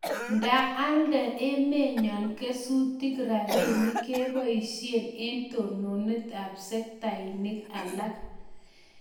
Nda alda emennyo kesutik rabinik kebaishe eng' totnet ab sektainik alak